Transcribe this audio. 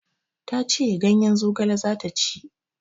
Ta ce ganyen zogale za ta ci.